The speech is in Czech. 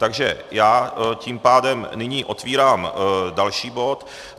Takže já tím pádem nyní otevírám další bod.